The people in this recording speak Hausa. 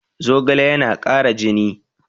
Zogale yana kara jini